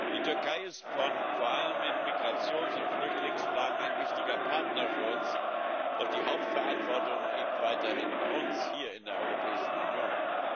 Die Türkei ist vor allem in Migrations und Flüchtlingsfragen ein wichtiger Partner für uns, doch die Hauptverantwortung liegt weiterhin bei uns hier in der Europäischen Union.